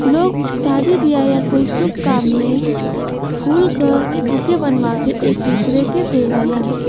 लोग शादी बियाह या कोई शुभ काम में फूल क बुके बनवा के एक दूसरे के देवलन।